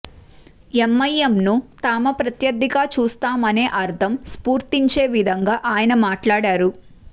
ఎంఐఎంను తామ ప్రత్యర్థిగా చూస్తామనే అర్థం స్ఫురించే విధంగా ఆయన మాట్లాడారు